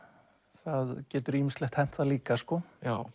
það getur ýmislegt hent það líka sko